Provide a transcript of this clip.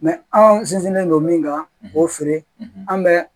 anw sinsinnen don min kan k'o feere an bɛ